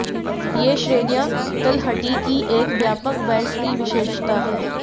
ये श्रेणियां तलहटी की एक व्यापक बेल्ट की विशेषता है